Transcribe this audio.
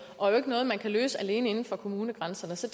og ikke noget man kan løse alene inden for kommunegrænserne så